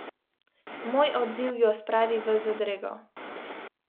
Moj odziv jo spravi v zadrego.